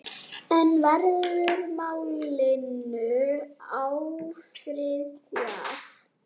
En verður málinu áfrýjað?